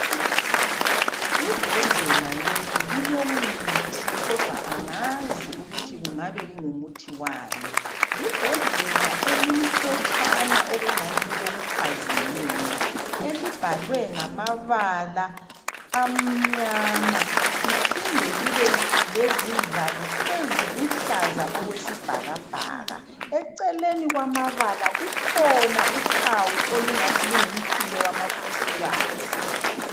Ibhodlela leli lilomuthi kodwa angazi ukuthi kungabe kungumuthi wani ,libhodlela elimhlotshana elibhalwe ngamabala amnyama liphinde libesivalo esiluhlaza okwesbhakabhaka , eceleni kukhona ibala elithi lungumchilo wamakhosikazi.